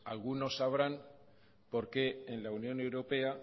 algunos sabrán por qué en la unión europea